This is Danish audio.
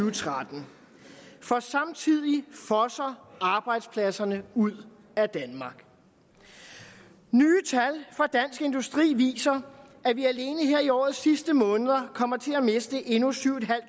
og tretten for samtidig fosser arbejdspladserne ud af danmark nye tal fra dansk industri viser at vi alene her i årets sidste måneder kommer til at miste endnu syv